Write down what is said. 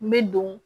N bɛ don